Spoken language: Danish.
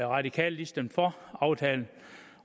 radikale stemte for aftalen